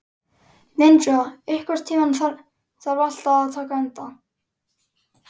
Ninja, einhvern tímann þarf allt að taka enda.